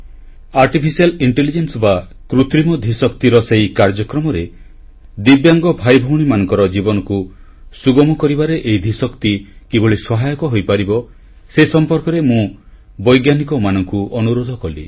artificial intelligence ବା କୃତ୍ରିମ ଧୀଶକ୍ତିର ସେହି କାର୍ଯ୍ୟକ୍ରମରେ ଦିବ୍ୟାଙ୍ଗ ଭାଇଭଉଣୀମାନଙ୍କ ଜୀବନକୁ ସୁଗମ କରିବାରେ ଏହି ଧୀଶକ୍ତି କିଭଳି ସହାୟକ ହୋଇପାରିବ ସେ ସମ୍ପର୍କରେ ମୁଁ ବୈଜ୍ଞାନିକମାନଙ୍କୁ ଅନୁରୋଧ କଲି